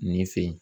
Nin fe yen